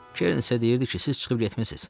Keren sizə deyirdi ki, siz çıxıb getmisiniz.